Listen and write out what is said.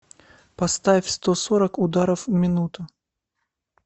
поставь сто сорок ударов в минуту